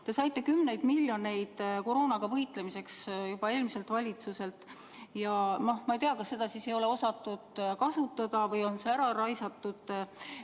Te saite kümneid miljoneid eurosid koroonaga võitlemiseks juba eelmiselt valitsuselt ja ma ei tea, kas seda siis ei ole osatud kasutada või on see ära raisatud.